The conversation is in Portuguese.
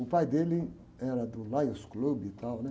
O pai dele era do Lions Club e tal, né?